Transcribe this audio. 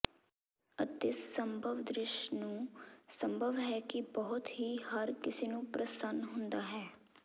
ਅਤੇ ਸੰਭਵ ਦ੍ਰਿਸ਼ ਨੂੰ ਸੰਭਵ ਹੈ ਕਿ ਬਹੁਤ ਹੀ ਹਰ ਕਿਸੇ ਨੂੰ ਪ੍ਰਸੰਨ ਹੁੰਦਾ ਹੈ